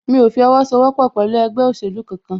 Mí o fi owó sọ wọ́pọ̀ pẹ̀lú ẹgbẹ́ òsèlú kan kan